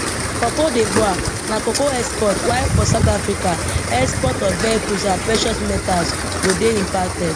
for cote divoire na cocoa exports while for south africa exports of vehicles and precious metals go dey impacted